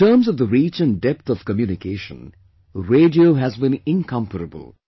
In terms of the reach & depth of communication, radio has been incomparable